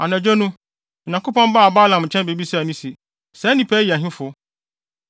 Anadwo no, Onyankopɔn baa Balaam nkyɛn bebisaa no se, “Saa nnipa yi yɛ hefo?”